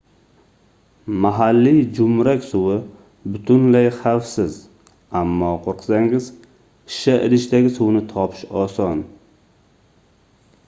mahalliy joʻmrak suvi butunlay xavfsiz ammo qoʻrqsangiz shisha idishdagi suvni topish oson